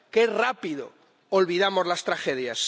¡Qué rápido olvidamos las tragedias!